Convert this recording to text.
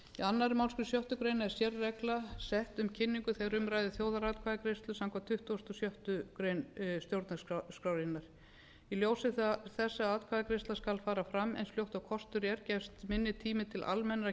annarri málsgrein sjöttu grein er sérregla sett um kynningu þegar um ræðir þjóðaratkvæðagreiðslu samkvæmt tuttugustu og sjöttu grein stjórnarskrárinnar í ljósi þess að atkvæðagreiðsla skal fara fram eins fljótt og kostur er gefst minni tími til almennra